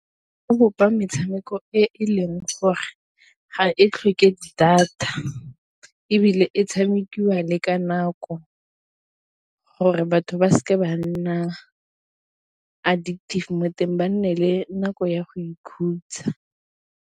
bopa metshameko e e leng gore ga e tlhoke data, ebile e tshamekiwa le ka nako gore batho ba seke ba nna addictive mo teng ba nne le nako ya go ikhutsa.